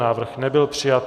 Návrh nebyl přijat.